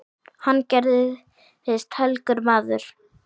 Hann gerðist helgur maður.